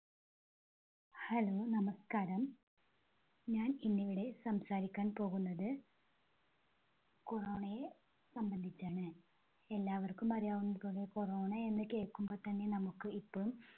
Hello നമസ്കാരം. ഞാൻ ഇന്നിവിടെ സംസാരിക്കാൻ പോകുന്നത് corona യെ സംബന്ധിച്ചാണ്. എല്ലാവർക്കും അറിയാവുന്നത് പോലെ corona എന്ന് കേൾക്കുമ്പോ തന്നെ നമുക്ക് ഇപ്പം